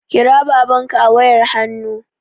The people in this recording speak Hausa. Kira babanka a wayar hannu